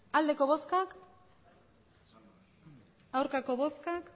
emandako botoak hirurogeita